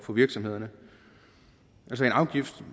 for virksomhederne altså en afgift